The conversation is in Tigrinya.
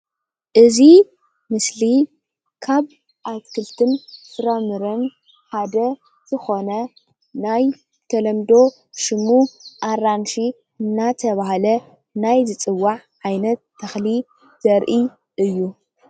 እዚ ምስሊ ካብ ኣትክልትን ፍራምረን ሓደ ዝኾነ ናይ ተለምዶ ሽሙ ኣራንሺ እንዳተባሃለ ናይ ዝፅዋዕ ዓይነት ተኽሊ ዘርኢ እዩ።